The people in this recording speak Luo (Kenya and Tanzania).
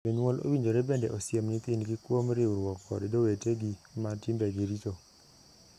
Jonyuol owinjore bende osiem nyithindgi kuom riwruok kod jowetegi ma timbegi richo.